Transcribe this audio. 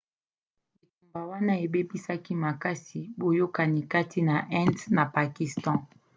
bitumba wana ebebisaki makasi boyakani kati na inde na pakistan